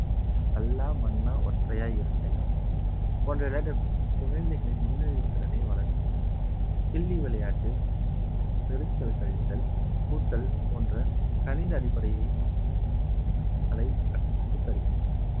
கல்லா மன்னா ஒற்றையாய் இரட்டையா போன்ற விளையாட்டு குழந்தைகளின் முன்னறிவுத் திறனை வளர்கின்றது கிள்ளி விளையாட்டு பெருக்கல் கழித்தல் கூட்டல் போன்ற கணித அடிப்படையில் கலை கற்றுத் தருகின்றன